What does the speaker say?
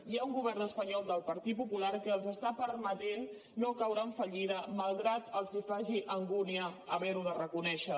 hi ha un govern espanyol del partit popular que els permet no caure en fallida malgrat que els faci angúnia haver ho de reconèixer